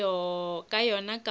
ka yona ka moka ba